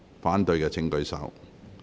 反對的請舉手。